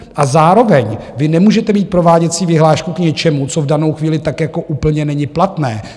A zároveň vy nemůžete mít prováděcí vyhlášku k něčemu, co v danou chvíli tak jako úplně není platné.